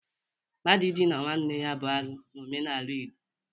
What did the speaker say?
Mmadụ idina nwanne ya bụ arụ n'omenala Igbo.